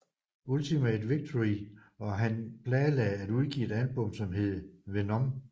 Ultimate Victory og han planlagde at udgive et album som hed Venom